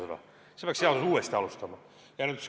Siis peaks seaduse uuesti algatama.